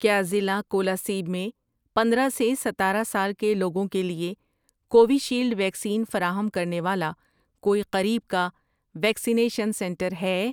کیا ضلع کولاسیب میں پندرہ سے ستارہ سال کے لوگوں کے لیے کووِشیلڈ ویکسین فراہم کرنے والا کوئی قریب کا ویکسینیشن سنٹر ہے؟